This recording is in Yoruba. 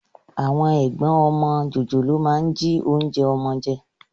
Àwọn ẹ̀gbọ́n ọmọ jòjòló a máa jí oúnjẹ ọmọ jẹ